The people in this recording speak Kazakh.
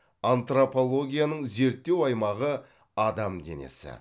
антропологияның зерттеу аймағы адам денесі